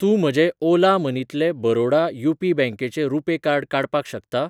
तूं म्हजें ओला मनी तलें बरोडा यू.पी. बँकेचें रुपे कार्ड काडपाक शकता?